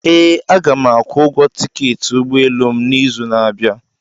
Ee, Aga m akwụ ụgwọ tiketi ụgbọ elu m n'izu na-abịa.